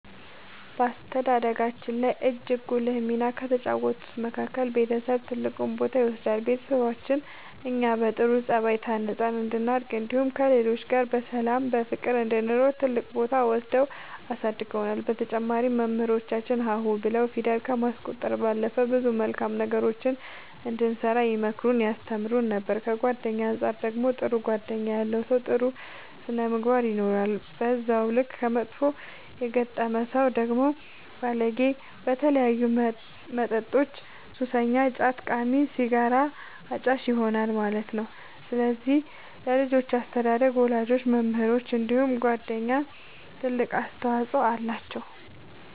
በአስተዳደጋችን ላይ እጅግ ጉልህ ሚና ከተጫወቱት መካከል ቤተሰብ ትልቁን ቦታ ይወስዳሉ ቤተሰቦቻችን እኛ በጥሩ ጸባይ ታንጸን እንድናድግ እንዲሁም ከሌሎች ጋር በሰላም በፍቅር እንድንኖር ትልቅ ቦታ ወስደው አሳድገውናል በተጨማሪም መምህራኖቻችን ሀ ሁ ብለው ፊደል ከማስቆጠር ባለፈ ብዙ መልካም ነገሮችን እንድንሰራ ይመክሩን ያስተምሩን ነበር ከጓደኛ አንፃር ደግሞ ጥሩ ጓደኛ ያለው ሰው ጥሩ ስነ ምግባር ይኖረዋል በዛው ልክ ከመጥፎ የገጠመ ሰው ደግሞ ባለጌ በተለያዩ መጠጦች ሱሰኛ ጫት ቃሚ ሲጋራ አጫሽ ይሆናል ማለት ነው ስለዚህ ለልጆች አስተዳደግ ወላጆች መምህራኖች እንዲሁም ጓደኞች ትልቅ አስተዋፅኦ አላቸው።